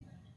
Kameeui giddosi